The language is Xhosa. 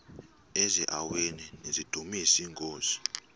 eziaweni nizidumis iinkosi